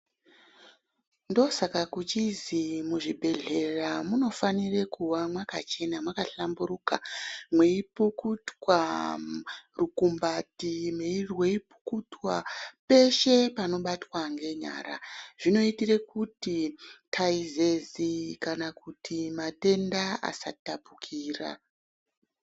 Ndosaka kuchizi mu zvibhedhlera munofanire kuva makachena maka hlamburuka mei pukutwa rukumbati rwei pukutwa peshe panobatwa nge nyara zvinoitire kuti taizezi kana kuti matenda asa tapukira.